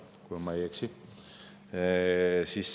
Ehk ma ei eksi.